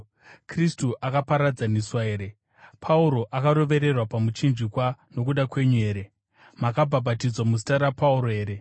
Kristu akaparadzaniswa here? Pauro akarovererwa pamuchinjikwa nokuda kwenyu here? Makabhabhatidzwa muzita raPauro here?